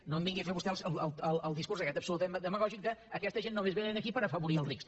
no em vingui a fer vostè el discurs aquest absolutament demagògic d’ aquesta gent només vénen aquí per afavorir els rics